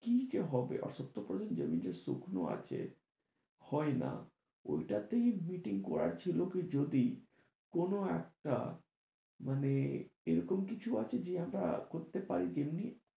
কি যে হবে, আর সত্তর percent জমি যে শুকনো আছে হয় না, ওই টা তেই meeting করার ছিল কি যদি কোন একটা মানে এরকম কিছু আছে যে আমার করতে পারি? এমনি,